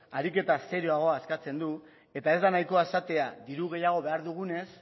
ariketa serioagoa eskatzen du eta ez da nahikoa esatea diru gehiago behar dugunez